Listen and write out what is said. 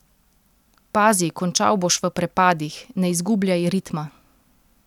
Pazi, končal boš v prepadih, ne izgubljaj ritma!